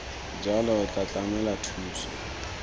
jalo o tla tlamela thuso